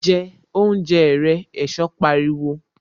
Jẹ oúnjẹ rẹ! Ẹ̀sọ́ pariwo